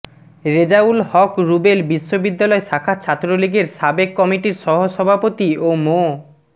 রেজাউল হক রুবেল বিশ্ববিদ্যালয় শাখা ছাত্রলীগের সাবেক কমিটির সহসভাপতি ও মো